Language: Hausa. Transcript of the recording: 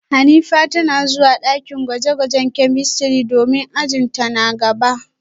Hanifa tana zuwa dakin gwaje-gwajen chemistry domin ajin ta na gaba